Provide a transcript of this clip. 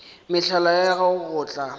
mehlala ya gago go tla